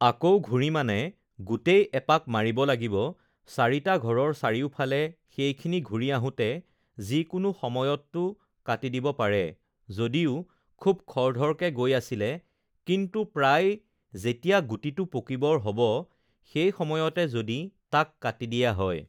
আকৌ ঘূৰি মানে গোটেই এপাক মাৰিব লাগিব চাৰিটা ঘৰৰ চাৰিওফালে সেইখিনি ঘূৰি আহোতে যিকোনো সময়ততো কাটি দিব পাৰে যদিও খুব খৰধৰকে গৈ আছিলে কিন্তু প্ৰায় যেতিয়া গুটিটো পকিবৰ হ'ব সেই সময়তে যদি তাক কাটি দিয়া হয়